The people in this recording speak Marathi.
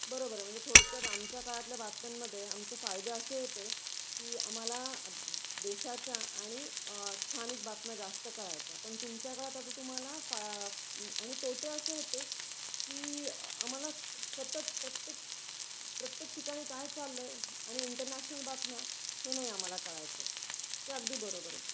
बरोबर आहे म्हणजे थोडक्यात आमच्या काळातल्या बातम्यांन मध्ये आमचे फायदे असे होते की आम्हाला देशाच्या आणि स्थानिक बातम्या जास्त कळायच्या. पण तुमच्या काळात आता तुम्हाला आणि तोटे असे होते की आम्हाला सतत प्रत्येक, प्रत्येक ठिकाणी काय चालल आहे आणि इंटरनॅशनल बातम्या हे नाही आम्हाला कळायच. ते अगदी बरोबर आहे.